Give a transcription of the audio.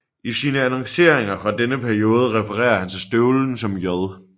I sine annonceringer fra denne periode referer han til støvlen som J